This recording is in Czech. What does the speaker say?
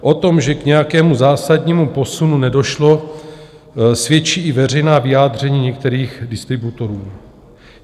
O tom, že k nějakému zásadnímu posunu nedošlo, svědčí i veřejná vyjádření některých distributorů.